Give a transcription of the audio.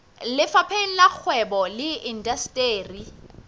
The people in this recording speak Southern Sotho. lefapheng la kgwebo le indasteri